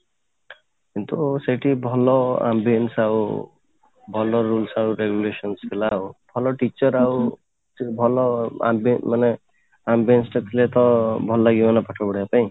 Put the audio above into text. କିନ୍ତୁ ସେଇଠି ଭଲ ambience ଆଉ ଭଲ rules ଆଉ regulations ଥିଲା ଆଉ ଭଲ teacher ଆଉ ଭଲ ମାନେ ambience ଟେ ଥିଲେ ତ ଭଲ ଲାଗିବ ନା ପାଠ ପଢିବା ପାଇଁ